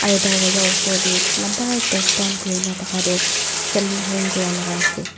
aro darwaza osor tey lamba ekta stand dakha toh saline hang kura la ase.